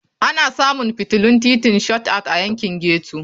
Ana samun fitilun titin Shot Out a yankin ghetto.